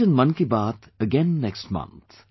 We will meet in Man ki baat again next month